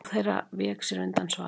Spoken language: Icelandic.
Ráðherra vék sér undan svari.